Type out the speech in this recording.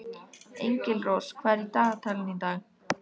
Engilrós, hvað er í dagatalinu í dag?